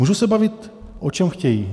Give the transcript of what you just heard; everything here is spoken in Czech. Můžou se bavit, o čem chtějí.